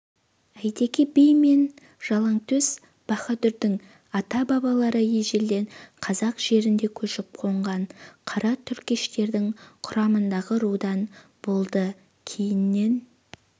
әйтеке би мен жалаңтөс баһадүрдің ата-бабалары ежелден қазақ жерінде көшіп-қонған қара түркештердің құрамындағы рудан болды кейіннен